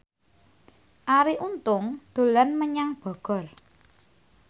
Arie Untung dolan menyang Bogor